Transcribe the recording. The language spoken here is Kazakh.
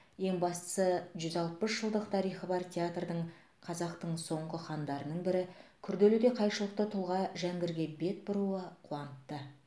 ең бастысы жүз алпыс жылдық тарихы бар театрдың қазақтың соңғы хандарының бірі күрделі де қайшылықты тұлға жәңгірге бет бұруы қуантты